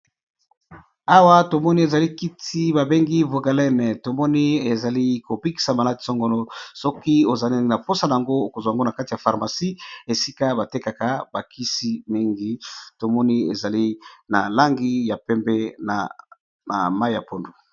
Awa tomoni kisi babengi vogalene tomoni eza kobikisa ba maladie songolo sokî oza naposa nango okozuwa yango na pharmacie esika batekata ba kisi mingi tomoni ezali na langi yapembe na pondu